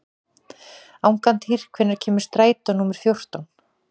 Angantýr, hvenær kemur strætó númer fjórtán?